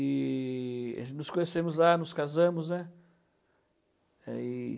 E a gente nos conhecemos lá, nos casamos, né? É, e